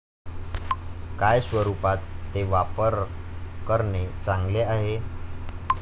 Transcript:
काय स्वरूपात ते वापर करणे चांगले आहे?